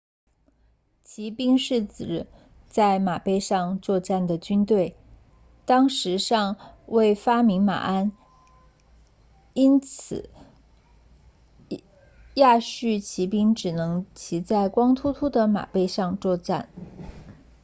骑兵是指在马背上作战的军队当时尚未发明马鞍因此亚述骑兵只能骑在光秃秃的马背上作战